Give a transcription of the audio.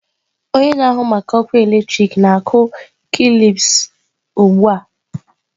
Onye na-ahụ maka ọkụ eletrik na-akụ kilips a ugbu a.